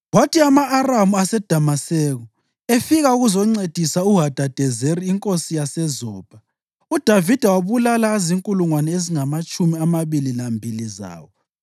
Kwathi ama-Aramu aseDamaseko efika ukuzoncedisa uHadadezeri inkosi yaseZobha, uDavida wabulala azinkulungwane ezingamatshumi amabili lambili zawo.